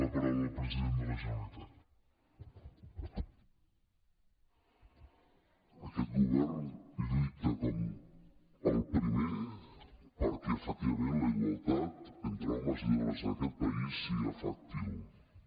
aquest govern lluita com el primer perquè efectivament la igualtat entre homes i dones en aquest país sigui efectiva